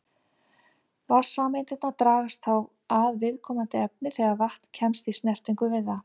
Vatnssameindirnar dragast þá að viðkomandi efni þegar vatn kemst í snertingu við það.